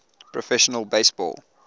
professional base ball